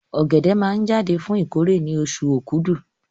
Ọ̀gẹ̀dẹ̀ máa jáde fún ìkórè ní oṣù Okúdù